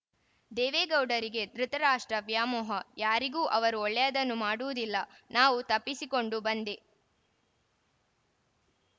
ದೇವೇಗೌಡರಿಗೆ ಧೃತರಾಷ್ಟ್ರ ವ್ಯಾಮೋಹ ಯಾರಿಗೂ ಅವರು ಒಳ್ಳೆಯದನ್ನು ಮಾಡುವುದಿಲ್ಲ ನಾವು ತಪ್ಪಿಸಿಕೊಂಡು ಬಂದೆ